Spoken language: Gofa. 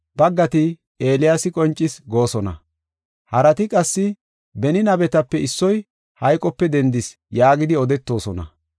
Baggati, “Eeliyaasi qoncis” goosona; harati qassi, “Beni nabetape issoy hayqope dendis” yaagidi odetoosona.